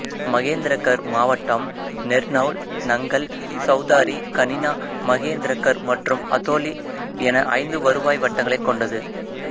மகேந்திரகர் மாவட்டம் நர்னௌல் நங்கல் சௌதாரி கனினா மகேந்திரகர் மற்றும் அதோலி என ஐந்து வருவாய் வட்டங்களை கொண்டது